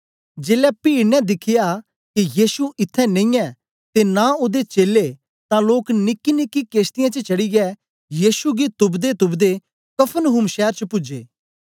जेलै पीड ने दिख्या के यीशु इत्त्थैं नेई ऐ ते नां ओदे चेलें तां लोक निकीनिकी केश्तीयें च चढ़ीयै यीशु गी तुपदेतुपदे कफरनहूम शैर च पूजे